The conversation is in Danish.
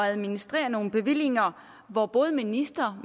administrere nogle bevillinger hvor både minister